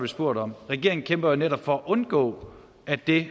spurgt om regeringen kæmper jo netop for at undgå at det